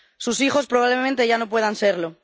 Sus hijos probablemente ya no puedan serlo.